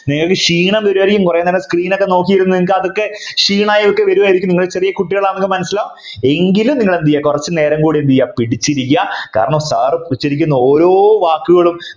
നിങ്ങൾക് ക്ഷീണം കുറെ നേരം Screen ലേക്ക് നോക്കിനിരുന്നു നിങ്ങൾക്ക് അതൊക്കെ ക്ഷീണായ ഒക്കെ വരുമായിരിക്കും നിങ്ങൾ ചെറിയ കുട്ടികളാണെന്ന് മനസ്സിലാകുന്നുണ്ട് എങ്കിലും നിങ്ങൾ എന്ത് ചെയ്യാ കുറച്ചു നേരം കൂടി എന്ത് ചെയ്യാ പിടിച്ചിരിക്കുക കാരണം Sir വെച്ചിരിക്കുന്ന ഓരോ വാക്കുകളും